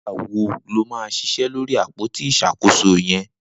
Nigbà wó ló mà ṣiṣẹ lóri ápótí iṣákósó yẹ̀n?